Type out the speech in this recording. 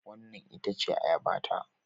Wannan ita ce Ayabata